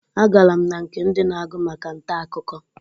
Agara m na nke ndi na-agụ maka nta akụkọ.